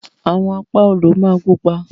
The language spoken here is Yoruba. Àwọn Apá odò ma pupa.